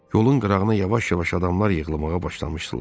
Yolun qırağına yavaş-yavaş adamlar yığılmağa başlamışdılar.